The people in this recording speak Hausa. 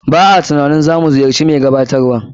B a na tunanin za mu ziyarci mai gabatarwan.